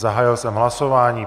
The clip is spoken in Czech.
Zahájil jsem hlasování.